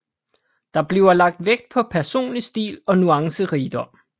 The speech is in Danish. Der bliver lagt vægt på personlig stil og nuancerigdom